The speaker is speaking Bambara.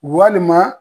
Walima